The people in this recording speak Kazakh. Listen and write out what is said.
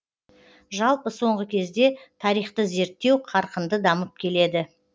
жалпы соңғы кезде тарихты зерттеу қарқынды дамып келеді